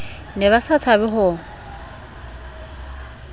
ne ba sa tshabe ho